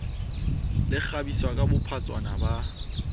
le kgabisa ka bophatshwana ba